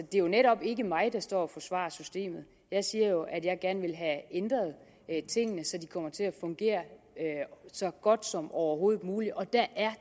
det er jo netop ikke mig der står og forsvarer systemet jeg siger jo at jeg gerne vil have ændret tingene så det kommer til at fungere så godt som overhovedet muligt og der er